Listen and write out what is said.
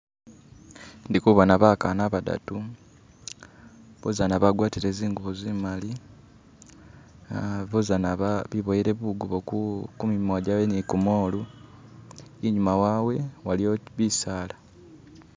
Ndi kubona bakana bakana badadu bozana bagwatile zingubo zimbesemu uh bozizana beboyele bukubo ku mimwa gyabwe ni kumolu inyuma wabwe waliyo bisala.